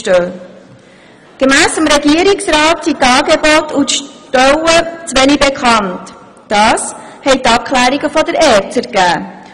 Gemäss den Abklärungen der ERZ sind diese Angebote und Stellen wenig bekannt, wie die Regierungsantwort zeigt.